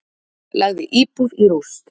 Lagði íbúð í rúst